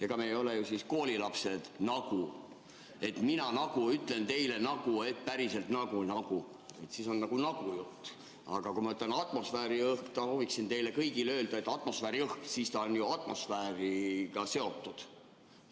Ega me ei ole ju koolilapsed, et nagu mina ütlen teile, et nagu päriselt nagu-nagu, siis on nagu nagu-jutt, aga kui ma ütlen "atmosfääriõhk", kui ma võiksin teile kõigile öelda, et atmosfääriõhk, siis ta on ju atmosfääriga seotud.